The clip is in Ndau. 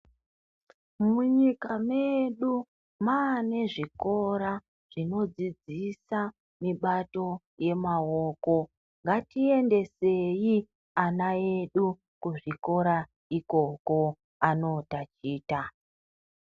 Munyika medu maane zvikora zvinodzidzisa mibato yemaoko. Ngatiendeseyi ana edu kuzvikora ikoko anotachita.